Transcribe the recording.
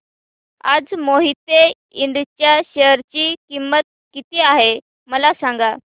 आज मोहिते इंड च्या शेअर ची किंमत किती आहे मला सांगा